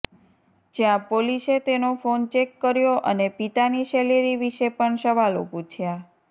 જ્યાં પોલીસે તેનો ફોન ચેક કર્યો અને પિતાની સેલેરી વિશે પણ સવાલો પૂછ્યા